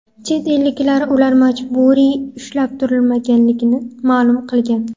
Chet elliklar ular majburiy ushlab turilmaganligini ma’lum qilgan.